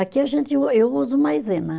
Aqui a gente u, eu uso maisena.